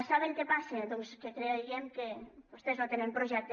saben què passa doncs que creiem que vostès no tenen projecte